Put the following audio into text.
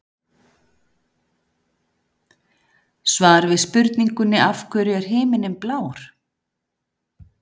Svar við spurningunni Af hverju er himinninn blár?